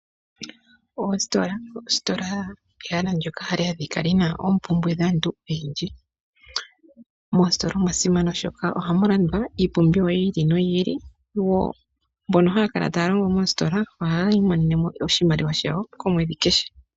Oositola, oositola ehala ndyoka hali adhika lyina oompumbwe dhaantu oyendji. Mositola omwasimana oshoka ohamulandwa iipumbiwa yiili no yiili, mbono haya kala taya longo moositola ohayi imonenemo oshimaliwa shawo omwedhi kehe.